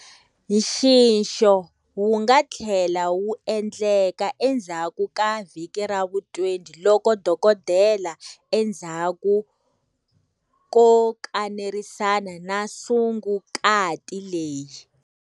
Nxixo wu nga tlhela wu endleka endzhaku ka vhiki ra vu 20 loko dokodela, endzhaku ko kanerisana na sungukati leyi.